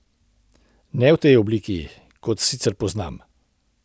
Ne v tej obliki, kot se sicer poznam.